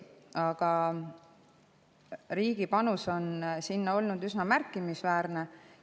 Aga riigi panus on olnud üsna märkimisväärne.